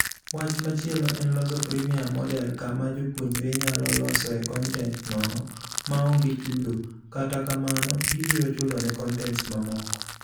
Wach machielo en loso freemium model kama jopuonjre nyalo losoe kontent nono maonge chudo, kata kamano gibiro chulone kontents mamoko.